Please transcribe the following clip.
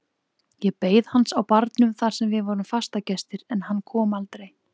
Ég beið hans á barnum þar sem við vorum fastagestir en hann kom aldrei.